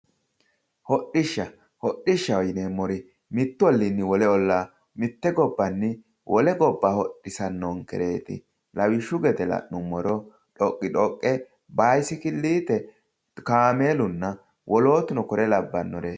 hodhishsha. hodhishshaho yineemmori mittu olliinni wole ollaa mitte gobbanni wole gobba hodhisanonkereeti lawishshaho la'nummoha dhoqidhoqqe baysikilliite kaameelunna wolootuno kore labbannoreeti